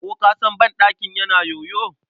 Ko ka san banɗakin na yoyo.